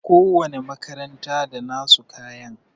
Ko wani makaranta da nasu kayan